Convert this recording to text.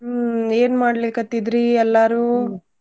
ಹ್ಮ್ ಏನ್ ಮಾಡ್ಲಿಕತ್ತಿದ್ರಿ ಎಲ್ಲಾರು?